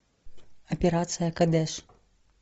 операция кадеш